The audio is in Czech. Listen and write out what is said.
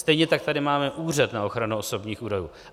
Stejně tak tady máme Úřad na ochranu osobních údajů.